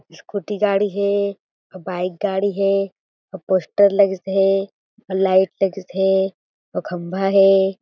Scooty गाड़ी हें आऊ बाइक गाड़ी हें आऊ पोस्टर लगिस हें आऊ लाइट लगिस हें आऊ खंभा हें।